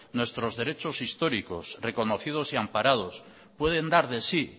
nuestros derechos históricos reconocidos y amparados pueden dar de si